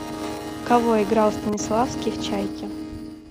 кого играл станиславский в чайке